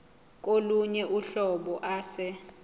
kolunye uhlobo ase